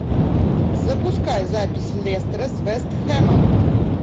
запускай запись лестера с вест хэмом